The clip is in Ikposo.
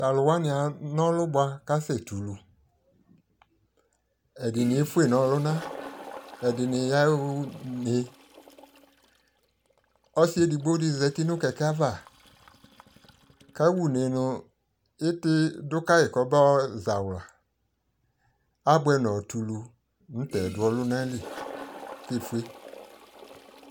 to alo wani ana ɔlu boa kasɛ tɛ ulu, edi ni efue no ɔluna, edi ni ya une ɔsi edigbo di zati no kɛkɛ ava kawa une no iti do kae ko ɔbayɔ zawla aboɛ nɔtɛ ulu no ta ɛdo ɔluna li ko efue